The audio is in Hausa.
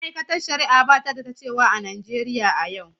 Ma’aikatar Shari’a ba ta da ta cewa a Najeriya a yau.